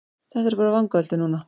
Þetta eru bara vangaveltur núna.